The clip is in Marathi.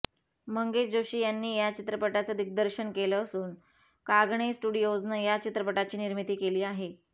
मंगेश जोशी यांनी या चित्रपटाचं दिग्दर्शन केलं असून कागणे स्टुडिओजनं या चित्रपटाची निर्मिती केली आहे